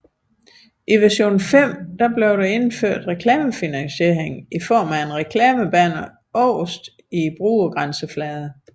I version 5 blev der indført reklamefinansiering i form af et reklamebanner øverst i brugergrænsefladen